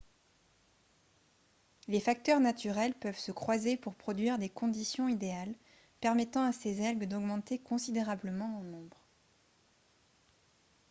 les facteurs naturels peuvent se croiser pour produire des conditions idéales permettant à ces algues d'augmenter considérablement en nombre